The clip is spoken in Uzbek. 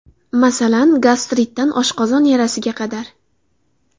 Masalan, gastritdan oshqozon yarasiga qadar.